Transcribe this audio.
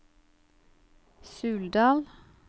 Suldal